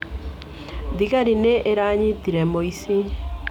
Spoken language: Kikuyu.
Thigari nĩ iranyitire mũici.